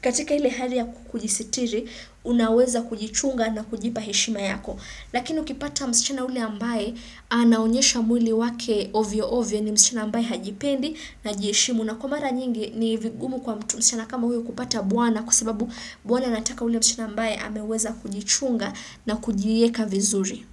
katika hili hali ya kujisitiri, unaweza kujichunga na kujipa heshima yako. Lakini ukipata msichana ule ambaye, anaonyesha mwili wake ovyo ovyo ni msichana ambaye hajipendi na hajiheshimu. Na kwa mara nyingi ni vigumu kwa mtu msichana kama huyo kupata bwana kwa sababu bwana nataka ule msichana ambae ameweza kujichunga na kujieka vizuri.